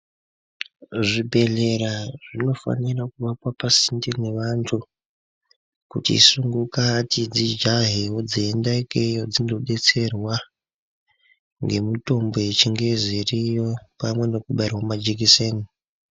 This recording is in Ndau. Zvibhedhlera zvinofanira kuwakwa pasinde newantu kuti sungukati dzijahewo dzeienda ikeyo dzindodetserwa ngemutombo yechingezi iriyo pamwe nekubairwa majekiseni.